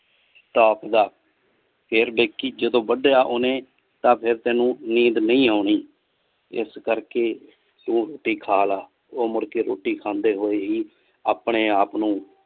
top ਦਾ ਫਿਰ ਦੇਖੀ ਜਦੋਂ ਵੰਡਿਆ ਓਨੇ ਤਾਂ ਫਿਰ ਤੈਨੂੰ ਨੀਂਦ ਨਹੀਂ ਓਨੀ ਇਸ ਕਰਕੇ ਰੋਟੀ ਖਾ ਲੈ ਉਹ ਮੁੜਕੇ ਰੋਟੀ ਖਾਂਦੇ ਹੋਏ ਹੀ ਆਪਣੇ ਆਪ ਨੂੰ